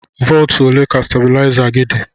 Volt ole ka stabuliza gi di?